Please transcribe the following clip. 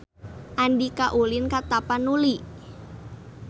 Andika ulin ka Tapanuli